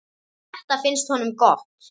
Þetta finnst honum gott.